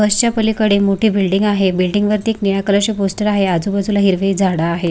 बस च्या पलीकडे मोठी बिल्डिंग आहे बिल्डिंग वरती एक निळ्या कलर चे पोस्टर आहे आजूबाजूला हिरवी झाड आहेत.